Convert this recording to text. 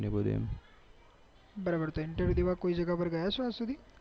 બરાબર interview દેવા કોઈ જગ્યા ગયા છો આજ સુધી